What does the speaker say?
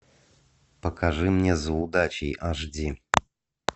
покажи мне за удачей аш ди